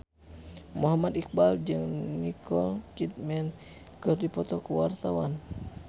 Muhammad Iqbal jeung Nicole Kidman keur dipoto ku wartawan